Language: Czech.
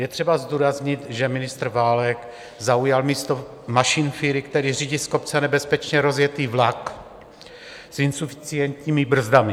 Je třeba zdůraznit, že ministr Válek zaujal místo mašinfíry, který řídí z kopce nebezpečně rozjetý vlak s insuficientními brzdami.